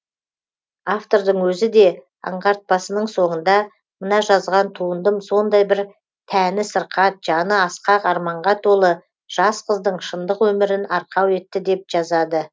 автордың өзі де аңғартпасының соңында мына жазған туындым сондай бір тәні сырқат жаны асқақ арманға толы жас қыздың шындық өмірін арқау етті деп жазады